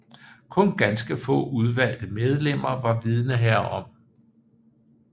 Kun ganske få udvalgte medlemmer var vidende herom